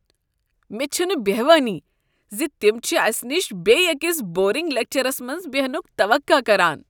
مےٚ چھنہٕ بہوانٕے ز تم چھ اسہ نش بیٚیہ أکس بورنگ لیکچرس منٛز بیہنک توقع کران۔